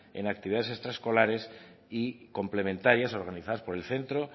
en actividades extraescolares y complementarias organizadas por el centro